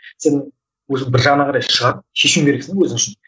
сен өзің бір жағына қарай шығып шешуің керексің де өзің үшін